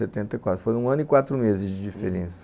Foi um ano e quatro meses de diferença.